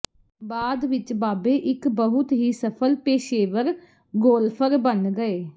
ਬਾਅਦ ਵਿੱਚ ਬਾਬੇ ਇੱਕ ਬਹੁਤ ਹੀ ਸਫਲ ਪੇਸ਼ੇਵਰ ਗੋਲਫਰ ਬਣ ਗਏ